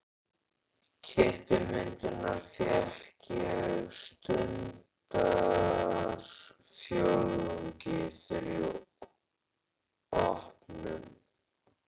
Klippimyndirnar fékk ég stundarfjórðungi fyrir opnun.